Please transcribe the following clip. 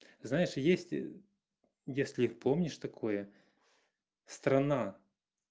знаешь есть если помнишь такое страна